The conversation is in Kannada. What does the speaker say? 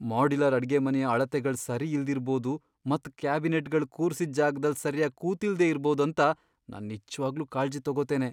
ಮಾಡ್ಯುಲರ್ ಅಡ್ಗೆಮನೆಯ ಅಳತೆಗಳ್ ಸರಿ ಇಲ್ದಿರ್ಬೋದು ಮತ್ ಕ್ಯಾಬಿನೆಟ್ಗಳ್ ಕೂರ್ಸಿದ್ ಜಾಗದಲ್ ಸರ್ಯಾಗಿ ಕೂತಿಲ್ದೆ ಇರ್ಬೊದ್ ಅಂತ ನಾನ್ ನಿಜ್ವಾಗ್ಲೂ ಕಾಳ್ಜಿ ತಗೋತೇನೆ.